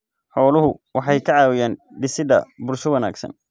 Xooluhu waxay ka caawiyaan dhisidda bulsho wanaagsan.